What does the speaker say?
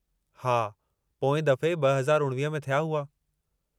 हा, पोएं दफ़े 2019 में थिया हुआ।